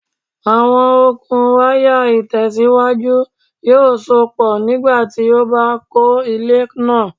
Awọn okun waya itẹsiwaju yoo sopọ nigbati o ba kọ ile naa